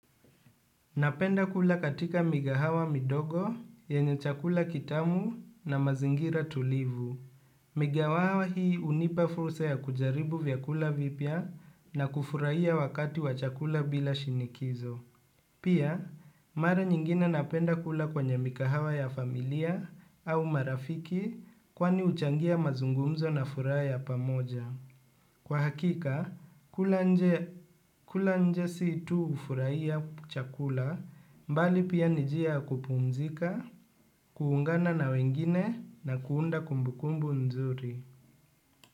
Napenda kula katika migahawa midogo, yenye chakula kitamu na mazingira tulivu. Migahawa hii unipa fursa ya kujaribu vyakula vipya na kufuraiya wakati wa chakula bila shinikizo. Pia, mara nyingine napenda kula kwenye mikahawa ya familia au marafiki kwani uchangia mazungumzo na fura ya pamoja. Kwa hakika, kula nje situ ufuraiya chakula mbali pia nijia kupumzika, kuungana na wengine na kuunda kumbukumbu nzuri.